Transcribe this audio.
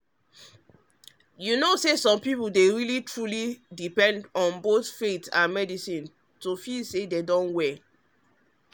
you know say some people dey truly depend on both faith and medicine to feel say dem don heal.